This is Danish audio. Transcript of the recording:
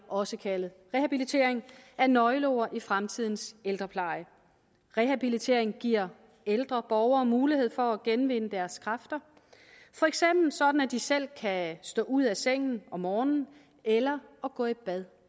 også kaldet rehabilitering er nøgleord i fremtidens ældrepleje rehabilitering giver ældre borgere mulighed for at genvinde deres kræfter for eksempel sådan at de selv kan stå ud af sengen om morgenen eller gå i bad